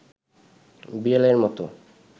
বিড়ালের মতো